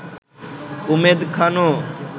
Umed খানও